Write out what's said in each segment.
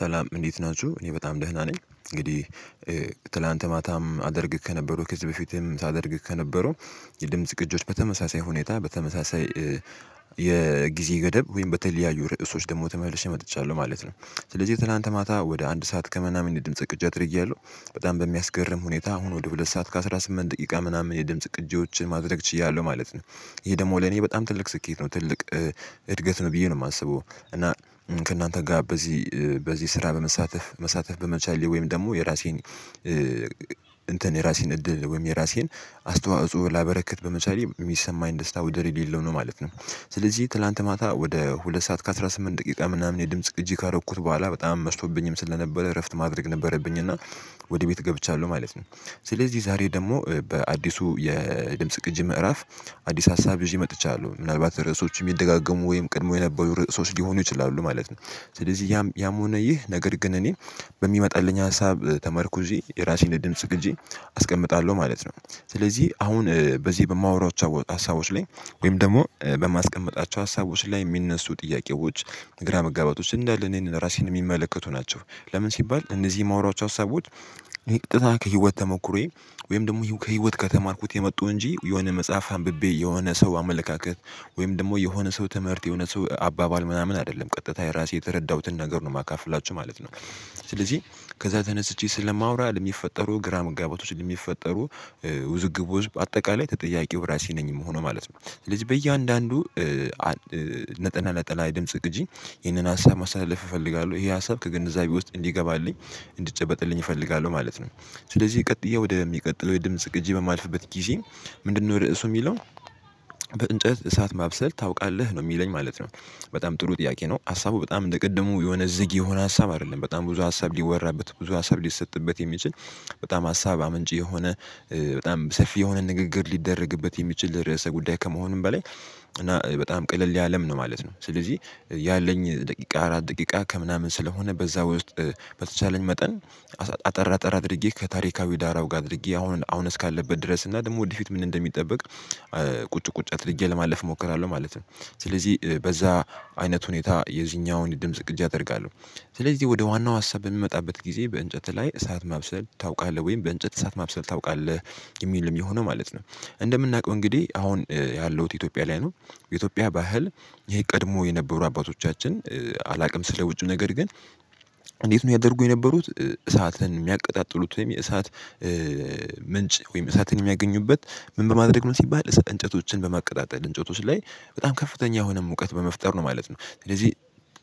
ሰላም እንዴት ናችሁ እኔ በጣም ደህና ነኝ። እንግዲህ ትናንት ማታም አደርግ ከነበረው ከዚህ በፊትም ሳደርግ ከነበረው የድምጽ ቅጆች በተመሳሳይ ሁኔታ በተመሳሳይ የጊዜ ገደብ ወይም በተለያዩ ርዕሶች ደግሞ ተመልሼ መጥቻለሁ ማለት ነው። ስለዚህ ትላንት ማታ ወደ አንድ ሰዓት ከምናምን የድምጽ ቅጅ አድርያለሁ በጣም በሚያስገርም ሁኔታ አሁን ወደ ሁለት ሰዓት ከአስራ ስምንት ጥቂቃ ምናምን የድምጽ ቅጂዎችን ማድረግ ችያለሁ ማለት ነው። ይሄ ደግሞ ለኔ በጣም ትልቅ ስኬት ነው ትልቅ እድገት ነው ብየ ነው የማስበው። እና ከእናንተ ጋር በዚህ በዚህ ስራ በመሳተፍ መሳተፍ በመቻሌ ወይም ደግሞ የራሴን እንትን የራሴን እድል ወይም የራሴን አስተዋጽኦ ላበረከት በምሳሌ የሚሰማኝ ደስታ ውድድር የሌለው ነው ማለት ነው። ስለዚህ ትላንት ማታ ወደ ሁለት ሰዓት ከአስራ ስምንት ደቂቃ ምናምን የድምጽ ቅጂ ካደረኩት በኋላ በጣም መዝቶብኝም ስለነበረ እረፍት ማድረግ ነበረብኝ እና ወደ ቤት ገብቻለሁ ማለት ነው። ስለዚህ ዛሬ ደግሞ በአዲሱ የድምጽ ቅጂ ምዕራፍ አዲስ ሀሳብ ይዤ መጥቻለሁ ምናልባት ርዕሶች የሚደጋገሙ ወይም ቅድመው የነበሩ ርዕሶች ሊሆኑ ይችላሉ ማለት ነው። ስለዚህ ያም ያም ሆነ ይህ ነገር ግን እኔ በሚመጣልኝ ሀሳብ ተመርኩዤ የራሴን ድምጽ ቅጂ አስቀምጣለሁ ማለት ነው። ስለዚህ አሁን በዚህ በማወራው ሀሳቦች ላይ ወይም ደግሞ በማስቀምጣቸው ሀሳቦች ላይ የሚነሱ ጥያቄዎች ግራ መጋባት ውስጥ እንዳለ እኔን ራሴን የሚመለከቱ ናቸው። ለምን ሲባል እነዚህ የማውራቸው ሀሳቦች። ይሄ ቀጥታ ከህይወት ተሞክሮዬ ወይም ደግሞ ከህይወት ከተማርኩት የመጡ እንጂ የሆነ መጽሐፍ አንብቤ የሆነ ሰው አመለካከት ወይም ደግሞ የሆነ ሰው ትምህርት የሆነ ሰው አባባል ምናምን አይደለም ቀጥታ የራሴ የተረዳሁትን ነገር ነው የማካፍላችሁ ማለት ነው። ስለዚህ ከዛ ተነስቼ ስለማወራ ለሚፈጠሩ ግራ መጋባቶች ለሚፈጠሩ ውዝግቦች አጠቃላይ ተጠያቂው ራሴ ነኝ የምሆነው ማለት ነው። ስለዚህ በእያንዳንዱ ነጠና ነጠላ የድምጽ ቅጂ ይህንን ሀሳብ ማሳለፍ እፈልጋለሁ ይሄ ሀሳብ ከግንዛቤ ውስጥ እንዲገባልኝ እንድጨበጥልኝ እፈልጋለሁ ማለት ነው። ስለዚህ ቀጥየ ወደሚቀጥለው የድምጽ ግጂ በማልፍበት ጊዜ ምንድነው ርዕሱ የሚለው? በእንጨት እሳት ማብሰል ታውቃለህ ነው የሚለኝ ማለት ነው። በጣም ጥሩ ጥያቄ ነው ሀሳቡ በጣም እንደ ቅድሙ የሆነ ዝግ የሆነ ሀሳብ አይደለም በጣም ብዙ ሀሳብ ሊወራበት ብዙ ሀሳብ ሊሰጥበት የሚችል በጣም ሀሳብ አመንጭ የሆነ በጣም ሰፊ የሆነ ንግግር ሊደረግበት የሚችል ርዕሰ ጉዳይ ከመሆኑም በላይ እና በጣም ቀለል ያለም ነው ማለት ነው። ስለዚህ ያለኝ ደቂቃ አራት ደቂቃ ከምናምን ስለሆነ በዛ ውስጥ በተቻለኝ መጠን አጠር አጠር አድርጌ ከታሪካዊ ዳራው ጋር አድርጌ አሁን አሁን እስካለበት ድረስ እና ደግሞ ወደፊት ምን እንደሚጠበቅ። ቁጭ ቁጭ አድርጌ ለማለፍ እሞክራለሁ ማለት ነው። ስለዚህ በዛ አይነት ሁኔታ የዚኛውን ድምጽ ቅጃ አደርጋለሁ። ስለዚህ ወደ ዋናው ሀሳብ በሚመጣበት ጊዜ በእንጨት ላይ እሳት ማብሰል ታውቃለህ ወይም በእንጨት እሳት ማብሰል ታውቃለህ? የሚልም የሆነው ማለት ነው። እንደምናውቀው እንግዲህ አሁን ያለውት ኢትዮጵያ ላይ ነው። የኢትዮጵያ ባህል ይሄ ቀድሞ የነበሩ አባቶቻችን አላውቅም ስለ ውጪው ነገር ግን። እንዴት ነው ያደርጉ የነበሩት? እሳትን የሚያቀጣጥሉት ወይም የእሳት ምንጭ ወይም እሳትን የሚያገኙበት? ምን በማድረግ ነው ሲባል እንጨቶችን በማቀጣጠል እንጨቶች ላይ በጣም ከፍተኛ የሆነ ሙቀት በመፍጠር ነው ማለት ነው። ስለዚህ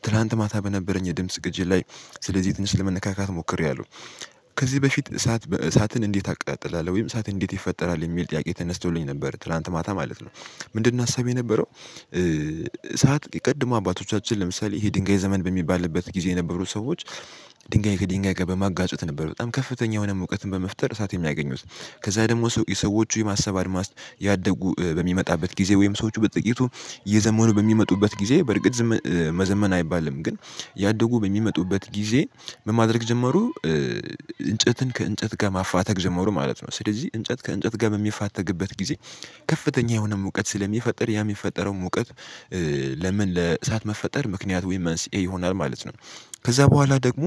ትላንት ማታ በነበረኝ የድምጽ ግጅ ላይ ስለዚህ ትንሽ ለመነካካት ሞክሬያለሁ። ከዚህ በፊት እሳት እሳትን እንዴት አቅጣጥላለሁ ወይም እሳት እንዴት ይፈጠራል የሚል ጥያቄ ተነስቶልኝ ነበር ትላንት ማታ ማለት ነው። ምንድነው ሀሳብ የነበረው? ሰዓት ቀድሞ አባቶቻችን ለምሳሌ ይሄ ድንጋይ ዘመን በሚባልበት ጊዜ የነበሩት ሰዎች ድንጋይ ከድንጋይ ጋር በማጋጩት ነበር በጣም ከፍተኛ የሆነ እውቀትን በመፍጠር እሳት የሚያገኙት። ከዛ ደግሞ ሰው የሰዎቹ የማሰብ አድማስ እያደጉ በሚመጣበት ጊዜ ወይም ሰዎቹ በጥቂቱ እየዘመኑ በሚመጡበት ጊዜ በርግጥ መዘመን አይባልም ግን እያደጉ በሚመጡበት ጊዜ ምን ማድረግ ጀመሩ? እንጨትን ከእንጨት ጋር ማፋተግ ዘመሩ ማለት ነው። ስለዚህ እንጨት ከእንጨት ጋር በሚፋተግበት ጊዜ ከፍተኛ የሆነ ሙቀት ስለሚፈጥር ያ የሚፈጠረው ሙቀት። ለምን ለእሳት መፈጠር ምክንያት ዊመንስ ይሆናል ማለት ነው። ከዛ በኋላ ደግሞ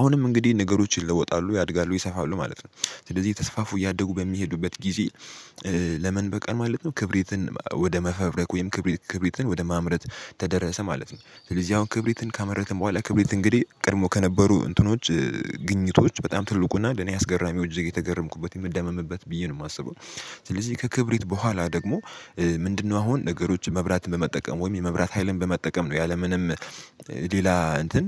አሁንም እንግዲህ ነገሮችን ይለወጣሉ ያድጋሉ ይሰፋሉ ማለት ነው። ስለዚህ የተስፋፉ እያደጉ በሚሄዱበት ጊዜ። ለምን በቃል ማለት ነው ክብሪትን ወደ መፈብረክ ወይም ክብሪት ክብሪትን ወደ ማምረት ተደረሰ ማለት ነው። ስለዚህ አሁን ክብሪትን ካመረትን በኋላ ክብሪት እንግዲህ ቀድሞ ከነበሩ እንትኖች ግኝቶች በጣም ትልቁና ለኔ አስገራሚው እጅግ የተገረምኩበት የምደመምበት ብዬ ነው የማስበው። ስለዚህ ከክብሪት በኋላ ደግሞ። ምንድነው? አሁን ነገሮችን መብራትን በመጠቀም ወይም የመብራት ሀይልን በመጠቀም ነው ያለምንም ሌላ እንትን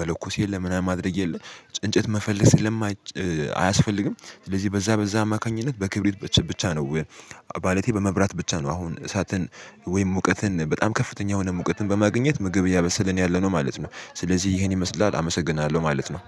መለኮስ የለም ምናምን ማድረግ የለም። እንጨት መፈለስ የለም ማጨ አያስፈልግም። ስለዚህ በዛ በዛ አማካኝነት በክብሪት ብቻ ነው። ባለቴ በመብራት ብቻ ነው አሁን እሳትን ወይም ሙቀትን በጣም ከፍተኛ የሆነ ሙቀትን በማግኘት ምግብ እያበሰለን ያለነው ማለት ነው። ስለዚህ ይሄን ይመስላል አመሰግናለሁ ማለት ነው